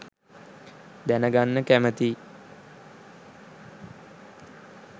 දැනගන්න කැමතියි.